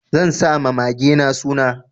Zai sa ma magena suna.